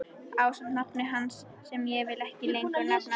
Ásamt nafni hans sem ég vil ekki lengur nefna.